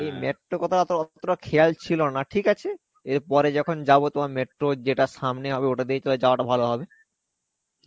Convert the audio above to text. এই metro অতটা খেয়াল ছিলনা. ঠিক আছে. এরপরে যখন যাবো তোমার metro যেটা সামনে হবে ওটাতেই তাহলে যাওয়াটা ভালো হবে.